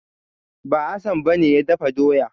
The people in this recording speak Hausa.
Ba, Hassan ba ne ya dafa doya.